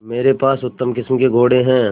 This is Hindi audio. मेरे पास उत्तम किस्म के घोड़े हैं